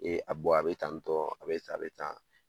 tantɔ a be tan, a be tan